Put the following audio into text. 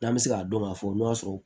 N'an bɛ se k'a dɔn k'a fɔ n'o y'a sɔrɔ